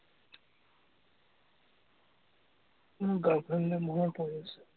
মোৰ girl friend লে মনত পৰিছে।